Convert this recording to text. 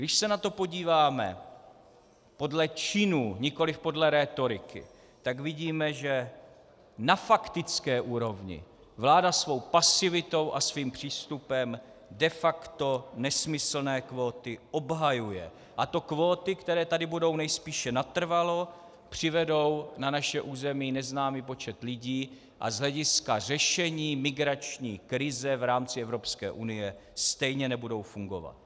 Když se na to podíváme podle činů, nikoli podle rétoriky, tak vidíme, že na faktické úrovni vláda svou pasivitou a svým přístupem de facto nesmyslné kvóty obhajuje, a to kvóty, které tady budou nejspíše natrvalo, přivedou na naše území neznámý počet lidí a z hlediska řešení migrační krize v rámci Evropské unie stejně nebudou fungovat.